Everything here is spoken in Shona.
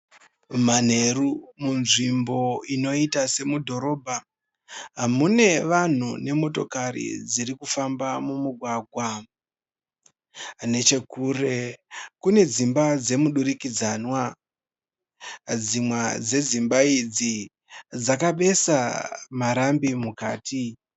Manheru munzvimbo inoiita semudhorobha mune vanhu vane motokari dziri kufamba. Mumugwagwa nechekure kune dzimba dzemudurikidzanwa ,dzimwe dzedzimba idzi dzakatoisa marambi mukati.